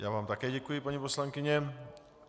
Já vám také děkuji, paní poslankyně.